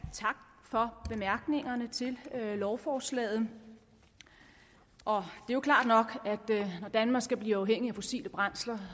tak for bemærkningerne til lovforslaget det er klart nok at når danmark skal blive uafhængig af fossile brændsler